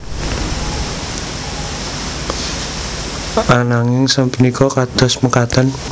Anging sapunika kados mekaten